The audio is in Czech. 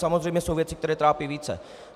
Samozřejmě jsou věci, které trápí více.